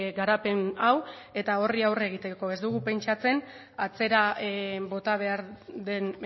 garapen hau eta horri aurre egiteko ez dugu pentsatzen atzera bota behar den